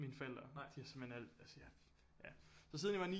Mine forældre de har simpelthen så siden jeg var 9